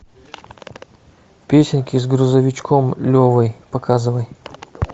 песенки с грузовичком левой показывай